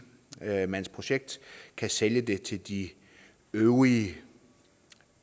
mandsprojekt kan sælge den til de øvrige